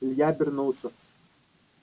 илья обернулся